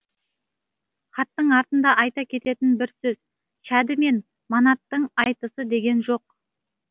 хаттың артында айта кететін бір сөз шәді мен манаттың айтысы деген жоқ